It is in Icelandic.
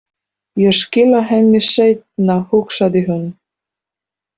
Ég skila henni seinna, hugsaði hún.